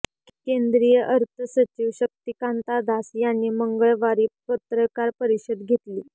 केंद्रीय अर्थसचिव शक्तिकांता दास यांनी मंगळवारी पत्रकार परिषद घेतली